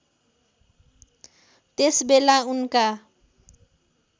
त्यस बेला उनका